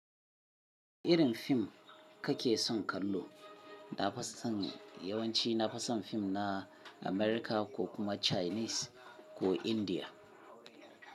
Irin fim kake son kallo? Na fison yawanci na fison fim na Amerika ko kuma Chinese ko India.